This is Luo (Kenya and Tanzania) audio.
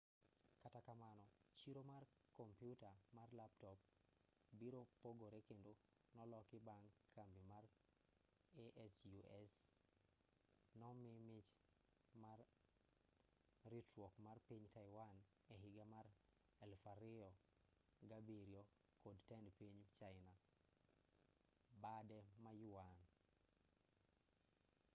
kata kamano chiro mar kompiuta mar laptop biro pogore kendo noloki bang' kambi mar asus nomii mich mar ritruok mar piny taiwan ehiga mar 2007 kod tend piny china bade ma yuan